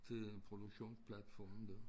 Til produktions platformen dér